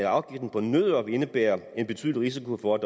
afgiften på nødder vil indebære en betydelig risiko for at